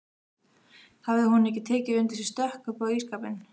Hafði hún ekki tekið undir sig stökk upp á ísskápinn!